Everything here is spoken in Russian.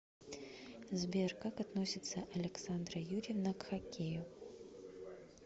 сбер как относится александра юрьевна к хоккею